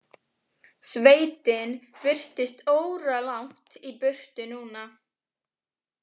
Sveitin virtist óralangt í burtu núna.